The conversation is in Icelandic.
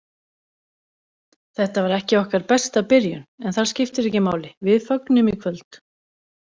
Þetta var ekki okkar besta byrjun, en það skiptir ekki máli, við fögnum í kvöld.